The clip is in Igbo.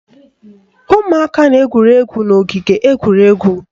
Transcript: Ụmụaka na-egwuri egwu n'ogige egwuregwu